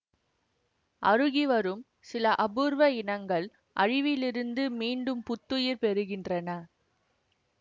அருகிவரும் சில அபூர்வ இனங்கள் அழிவிலிருந்து மீண்டும் புத்துயிர் பெறுகின்றன